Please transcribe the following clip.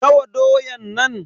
Nawa doyan nan?